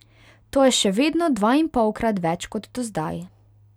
To je še vedno dvainpolkrat več kot dozdaj.